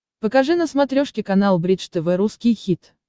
покажи на смотрешке канал бридж тв русский хит